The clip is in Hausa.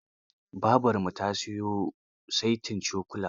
Babarmu ta siyo saitin cokula.